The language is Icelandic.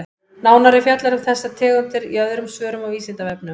Nánar er fjallað um þessar tegundir í öðrum svörum á Vísindavefnum.